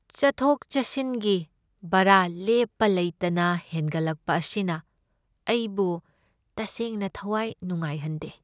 ꯆꯠꯊꯣꯛ ꯆꯠꯁꯤꯟꯒꯤ ꯚꯔꯥ ꯂꯦꯞꯄ ꯂꯩꯇꯅ ꯍꯦꯟꯒꯠꯂꯛꯄ ꯑꯁꯤꯅ ꯑꯩꯕꯨ ꯇꯁꯦꯡꯅ ꯊꯋꯥꯏ ꯅꯨꯡꯉꯥꯏ ꯍꯟꯗꯦ꯫